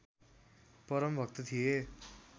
परम भक्त थिए